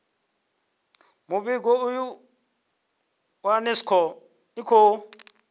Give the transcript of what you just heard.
muvhigo uyu unesco i khou